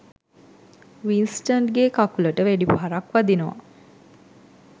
වින්ස්ටන්ගේ කකුලට වෙඩි පහරක් වදිනවා